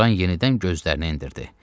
Loran yenidən gözlərini endirdi.